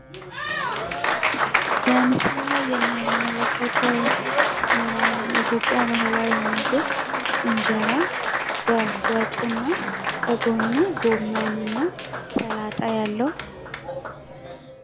በምስሉ ላይ የምንመለከተው የኢትዮጵያ ባህላዊ ምግብ እንጀራ በወጥ እና ከጎኑ ጎመን እና ሰላጣ ያለው